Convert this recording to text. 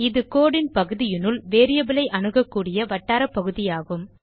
இது code ன் பகுதியினுள் வேரியபிள் ஐ அணுகக்கூடிய வட்டாரப்பகுதியாகும்